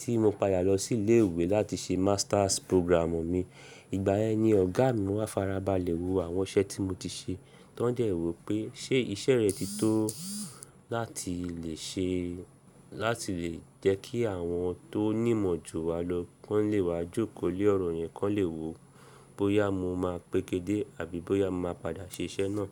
tí mo pada lọ sí ilé ìwé láti ṣe masters programù mi. Ìgbà yẹn ni ọ̀gá mi máa farabalẹ̀ wo àwọn iṣẹ́ tí mo ti ṣe, tán jẹ́ wo pé ṣe iṣẹ́ rẹ̀ ti tó láti lè ṣe láti lè jẹ́kí àwọn tó nímọ̀ ju wa lọ, kọ́ńlẹ́ wa jókòó lé ọ̀rọ̀ yẹn kọ́ńlẹ́ wo bóyá mo máa pékedé àbí bóyá mo máa padà ṣe iṣẹ́ náà.